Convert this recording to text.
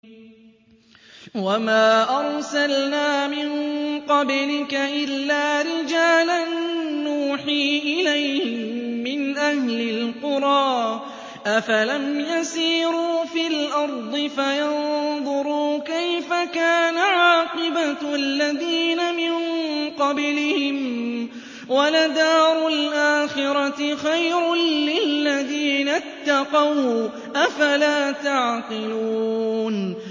وَمَا أَرْسَلْنَا مِن قَبْلِكَ إِلَّا رِجَالًا نُّوحِي إِلَيْهِم مِّنْ أَهْلِ الْقُرَىٰ ۗ أَفَلَمْ يَسِيرُوا فِي الْأَرْضِ فَيَنظُرُوا كَيْفَ كَانَ عَاقِبَةُ الَّذِينَ مِن قَبْلِهِمْ ۗ وَلَدَارُ الْآخِرَةِ خَيْرٌ لِّلَّذِينَ اتَّقَوْا ۗ أَفَلَا تَعْقِلُونَ